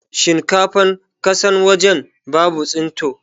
Shinkafan kasan waje babu tsinto